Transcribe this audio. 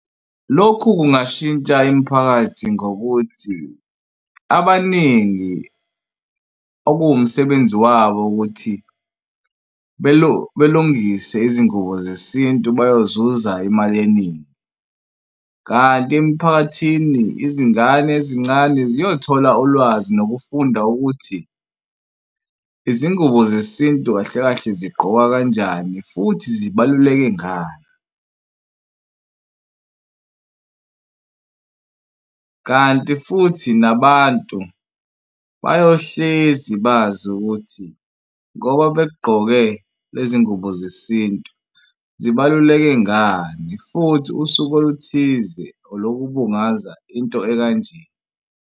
Lokhu kungashintsha imiphakathi ngokuthi abaningi okuwumsebenzi wabo ukuthi belungise izingubo zesintu bayozuza imali eningi. Kanti emiphakathini izingane ezincane ziyothola ulwazi nokufunda ukuthi izingubo zesintu kahle kahle zigqokwa kanjani futhi zibaluleke ngani. Kanti futhi nabantu bayohlezi bazi ukuthi ngoba begqoke lezi ngubo zesintu zibaluleke ngani futhi usuku oluthize olokubungaza into ekanje.